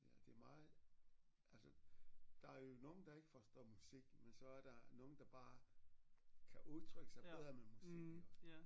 Ja det er meget altså der er jo nogen der ikke forstår musik men så er der nogle der bare kan udtrykke sig bedre med musik iggå